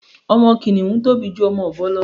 Ọmọ kìnìhún tóbi ju ọmọ ọ̀bọ lọ